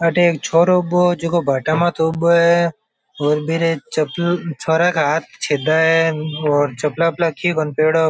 अठ एक छोरो उबो जको भाटा मात उबो है और बिरे छोरा के हाथ छिदा है और चप्पला व्पपला की कोणी पहरोडो।